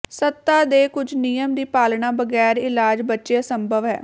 ਸੱਤਾ ਦੇ ਕੁਝ ਨਿਯਮ ਦੀ ਪਾਲਣਾ ਬਗੈਰ ਇਲਾਜ ਬੱਚੇ ਅਸੰਭਵ ਹੈ